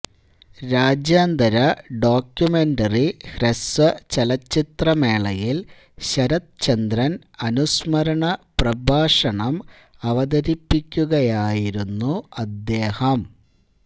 രാജ്യാന്തര ഡോക്യുമെന്ററി ഹ്രസ്വചലച്ചിത്രമേളയിൽ ശരത്ചന്ദ്രൻ അനുസ്മരണ പ്രഭാഷണം അവതരിപ്പിക്കുകയായിരുന്നു അദ്ദേഹം